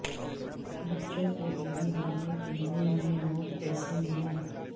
بچوں کوعیدی دینے کے لیے نئے نوٹ کیسے ملیں